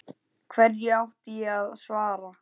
Hverju átti ég að svara.